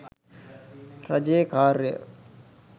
රජයේ කාර්ය